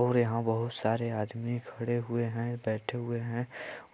और यहाँ बहुत सारे आदमी खड़े हुए है बैठे हुए है